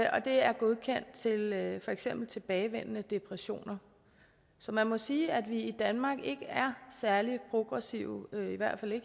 og det er godkendt til behandling af for eksempel tilbagevendende depressioner så man må sige at vi i danmark ikke er særlig progressive